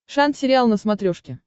шант сериал на смотрешке